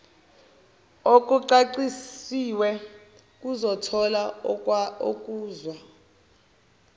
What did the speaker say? okucacisiwe kuzothola okuza